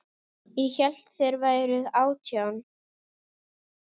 Ég hélt þér væruð átján.